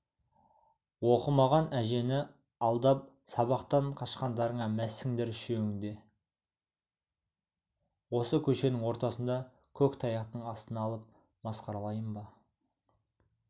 оқымаған әжені алдап сабақтан қашқандарыңа мәзсіңдер үшеуіңді де осы көшенің ортасында көк таяқтың астына алып масқаралайын ба